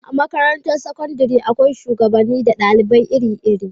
A makarantar sakandare akwai shugabanni na dalibai iri iri